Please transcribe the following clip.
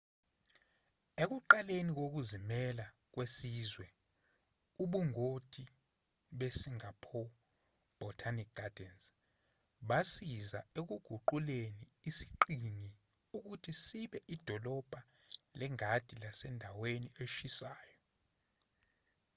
ekuqaleni kokuzimela kwesizwe ubungoti be-singapore botanic gardens basiza ekuguquleni isiqhingi ukuthi sibe idolobha lengadi lasendaweni eshisayo